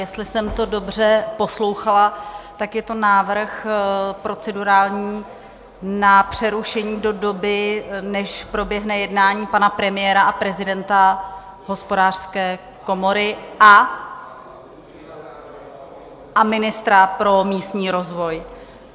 Jestli jsem to dobře poslouchala, tak je to návrh procedurální na přerušení do doby, než proběhne jednání pana premiéra a prezidenta Hospodářské komory a ministra pro místní rozvoj.